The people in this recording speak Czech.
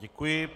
Děkuji.